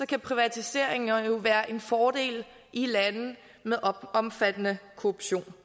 kan privatiseringer jo være en fordel i lande med omfattende korruption